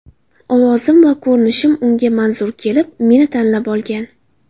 Ovozim va ko‘rinishim unga manzur kelib, meni tanlab olgan.